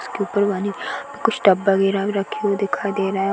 उसके उपर कुछ डब्बा वगैरह भी रखे हुए दिखाई दे रहे हैं।